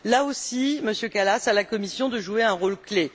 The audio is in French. Là aussi, Monsieur Kallas, à la Commission de jouer un rôle clé.